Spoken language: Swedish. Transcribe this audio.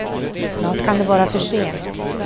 Snart kan det vara för sent.